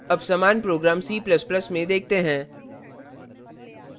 अब समान program c ++ में देखते हैं